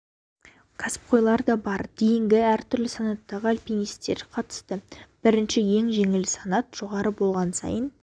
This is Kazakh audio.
кәсіпқойлар да бар дейінгі әртүрлі санаттағы альпинистер қатысты біріншісі ең жеңілі санат жоғары болған сайын